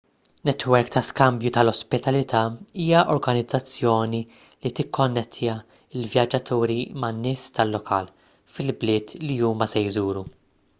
netwerk ta' skambju tal-ospitalità hija organizzazzjoni li tikkonnettja l-vjaġġaturi man-nies tal-lokal fil-bliet li huma se jżuru